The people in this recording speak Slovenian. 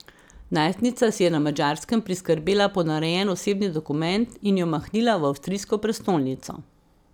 Najstnica si je na Madžarskem priskrbela ponarejen osebni dokument in jo mahnila v avstrijsko prestolnico.